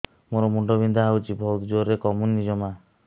ମୋର ମୁଣ୍ଡ ବିନ୍ଧା ହଉଛି ବହୁତ ଜୋରରେ କମୁନି ଜମା